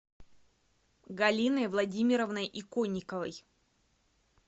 галиной владимировной иконниковой